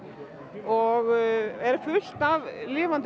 og er fullt af lifandi